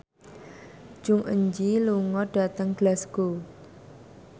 Jong Eun Ji lunga dhateng Glasgow